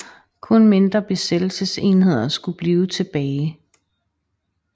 Kun mindre besættelsesenheder skulle blive tilbage